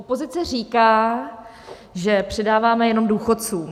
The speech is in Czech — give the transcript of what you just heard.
Opozice říká, že přidáváme jenom důchodcům.